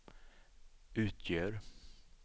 utgör